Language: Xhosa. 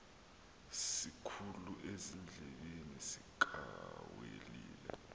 sikhulu ezindlebeni zikawelile